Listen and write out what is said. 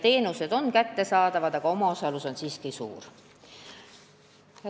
Teenused on küll kättesaadavad, aga omaosalus on siiski suur.